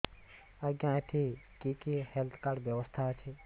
ଆଜ୍ଞା ଏଠି କି କି ହେଲ୍ଥ କାର୍ଡ ବ୍ୟବସ୍ଥା ଅଛି